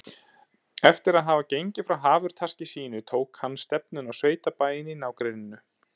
Eftir að hafa gengið frá hafurtaski sínu tók hann stefnuna á sveitabæinn í nágrenninu.